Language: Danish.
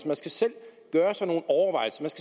man skal selv gøre